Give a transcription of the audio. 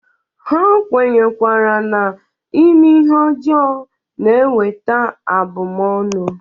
Ha kwenyerekwara na ime ihe ọjọọ na-eweta abụmọnụ.